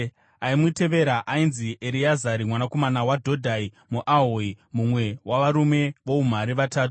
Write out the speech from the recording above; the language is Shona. Aimutevera ainzi Ereazari mwanakomana waDhodhai muAhohi mumwe wavarume voumhare vatatu.